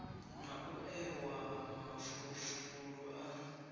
na u ewa mafulufulu a